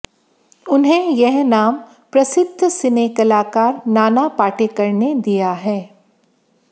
उन्हें यह नाम प्रसिद्ध सिने कलाकार नाना पाटेकर ने दिया है